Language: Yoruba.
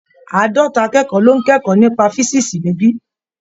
Àádọ́ta akẹ́kọ̀ọ́ ló ń kẹ́kọ̀ọ́ nípa físíìsì níbí.